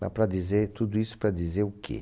Mas para dizer, tudo isso para dizer o quê?